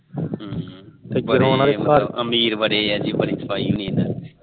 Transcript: ਅਮੀਰ ਬੜੇ ਬੜੀ ਸਫਾਈ ਹੋਣੀ ਇਹਨਾ ਦੇ